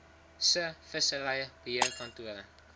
se vissery beheerkantore